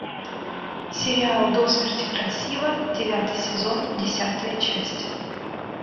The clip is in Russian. сериал до смерти красива девятый сезон десятая часть